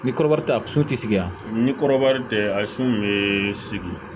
Ni kɔrɔbɔrɔ tɛ a sotigi yan ni kɔrɔbɔrɔ tɛ a su bɛ sigi